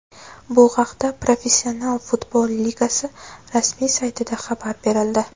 Bu haqida Professional futbol ligasi rasmiy saytida xabar berildi .